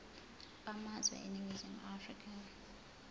bamazwe eningizimu afrika